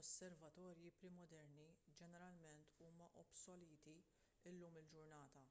osservatorji pre-moderni ġeneralment huma obsoleti llum il-ġurnata